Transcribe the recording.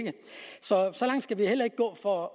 så så langt skal vi heller ikke gå for at